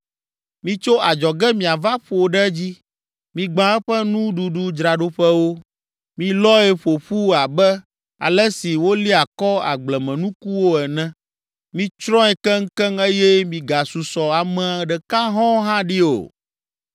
Mitso adzɔge miava ƒo ɖe edzi. Migbã eƒe nuɖuɖudzraɖoƒewo, milɔe ƒo ƒu abe ale si wolia kɔ agblemenukuwo ene. Mitsrɔ̃e keŋkeŋ eye migasusɔ ame ɖeka hɔ̃ɔ hã ɖi o.